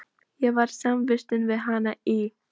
Ég var samvistum við hann í